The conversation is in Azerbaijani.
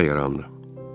Fasilə yarandı.